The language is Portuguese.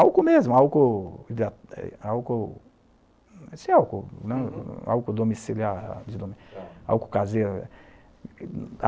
Álcool mesmo, álcool hidrata, álcool, esse álcool mesmo, álcool domiciliar, álcool caseiro.